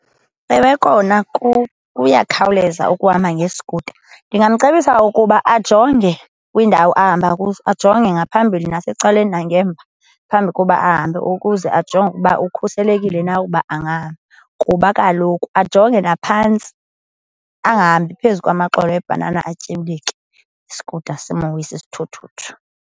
Ewe, kona kuyakhawuleza ukuhamba ngeskuta. Ndingamcebisa ukuba ajonge kwiindawo ahamba kuzo, ajonge ngaphambili nasecaleni nangemva phambi koba ahambe ukuze ajonge ukuba ukhuselekile na ukuba angahamba, kuba kaloku ajonge naphantsi, angahambi phezu kwamaxolo ebhanana atyibilike, iskuta, simwise isithuthuthu.